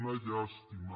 una llàstima